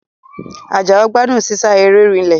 Àjàó gbádùn sísá eré rìílè